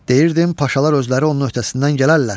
Deyirdim Paşalar özləri onun öhdəsindən gələrlər.